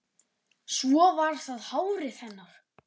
Svo var það hárið hennar.